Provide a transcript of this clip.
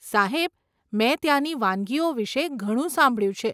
સાહેબ, મેં ત્યાંની વાનગીઓ વિશે ઘણું સાંભળ્યું છે.